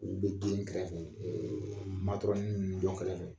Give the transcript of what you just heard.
U bɛ den kɛrɛfɛ ɛɛ ninnu dɔ kɛrɛfɛ